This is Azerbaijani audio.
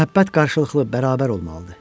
Məhəbbət qarşılıqlı, bərabər olmalıdır.